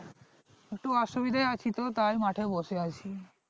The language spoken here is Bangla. একটু অসুবিধায় আছি তো তাই মাঠে বসে আছি।